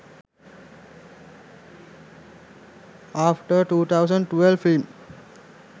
after 2012 film